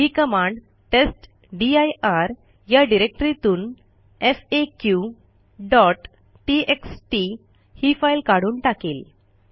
ही command test dir या डिरेक्टरीतून faqटीएक्सटी ही फाईल काढून टाकेल